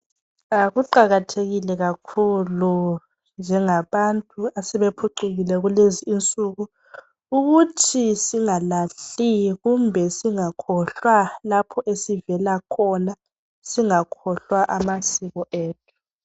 Kuqakathekile kakhulu njengabantu asebe phucukile kulezinsuku ukuthi singalahli kumbe singakhohlwa lapho esivela khona singakhohlwa amasiko ethu